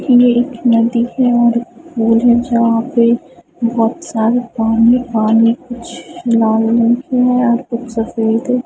एक नदी है और वो जो जहां पे बहोत सारे पानी पानी कुछ --